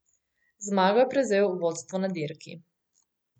Z zmago je prevzel vodstvo na dirki.